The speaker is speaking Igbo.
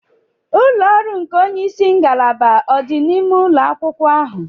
Ulọ ọrụ nke onye isi ngalaba odi n'ime ụlọ akwụkwọ ahụ?